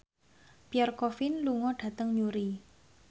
Pierre Coffin lunga dhateng Newry